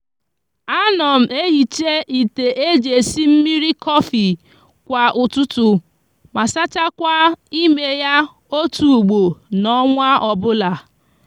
a no m ehicha ite eji esi mmiri cofi kwa ututu ma sachakwa ime ya otu ugbo n'onwa obula